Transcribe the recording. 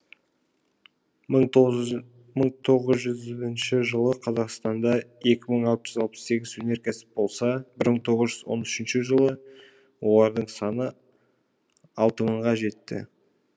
мың тоғызыншы жылы қазақстанда екі мың алтыжүз алпыс сегіз өнеркәсіп болса мың тоғыз жүз он үшінші жылы олардың саны алты мыңға жетті